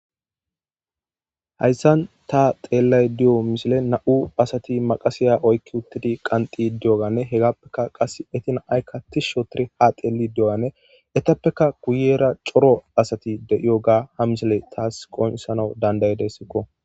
Hayssan ta xeellay di'o misile na'u asati maqasiya oykki uttidi qanxi diyoganne hegappekka qas etina aykka tis shotire ha xeeli di'o'ane etappeka kuyera coro asati de'iyo ga ha misile taas qonesana dandayedessikko